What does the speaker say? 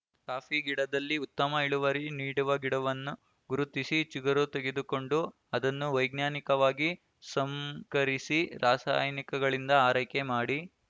coffee ಗಿಡದಲ್ಲಿ ಉತ್ತಮ ಇಳುವರಿ ನೀಡುವ ಗಿಡವನ್ನು ಗುರುತಿಸಿ ಚಿಗುರು ತೆಗೆದುಕೊಂಡು ಅದನ್ನು ವೈಜ್ಞಾನಿಕವಾಗಿ ಸಂಕರಿಸಿ ರಾಸಾಯನಿಕಗಳಿಂದ ಆರೈಕೆ ಮಾಡಿ